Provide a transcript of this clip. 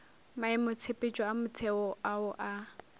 maemotshepetšo a motheo ao a